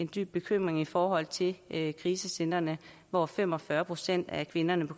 dyb bekymring i forhold til netop krisecentrene hvor fem og fyrre procent af kvinderne